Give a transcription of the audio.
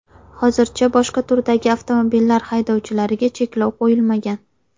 Hozircha boshqa turdagi avtomobillar haydovchilariga cheklov qo‘yilmagan.